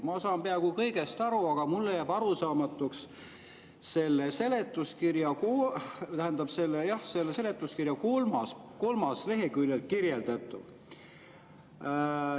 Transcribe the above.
Ma saan peaaegu kõigest aru, aga mulle jääb arusaamatuks selle seletuskirja kolmandal leheküljel kirjeldatu.